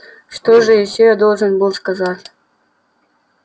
что же ещё я должен был сказать